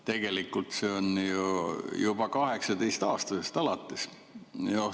Tegelikult on see juba 18‑aastastest alates.